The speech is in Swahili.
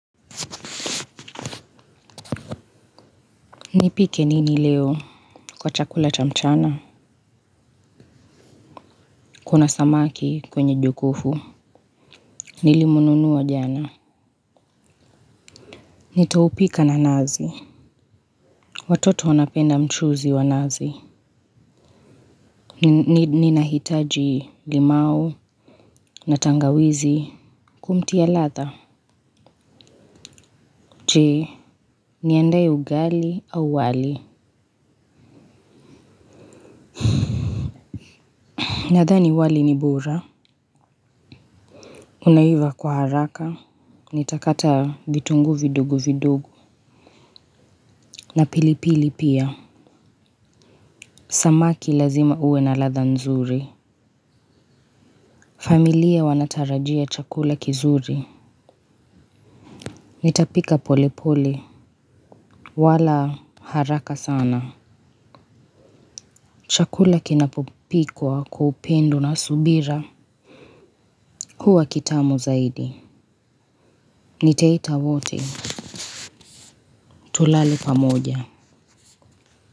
Nipike nini leo kwa chakula cha mchana kuna samaki kwenye jokovu nilimnunua jana nitaupika na nazi watoto wanapenda mchuzi wa nazi ninahitaji limau na tangawizi kumtia ladha jee niandae ugali au wali nadhani wali ni bora unaiva kwa haraka nitakata vitungu vidogu vidogo na pilipili pia. Samaki lazima uwe na ladha nzuri. Familia wanatarajia chakula kizuri. Nitapika polepole wala haraka sana. Chakula kinapopikwa kwa upendo na subira huwa kitamu zaidi. Nitaita wote. Tulale pamoja.